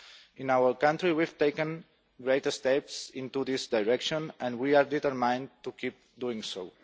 In our country we have taken great steps in this direction and we have it in mind to keep doing so.